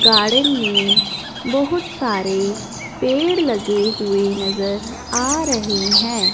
Garden में बहुत सारे पेड़ लगे हुए नज़र आ रहे हैं।